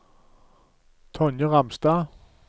Tonje Ramstad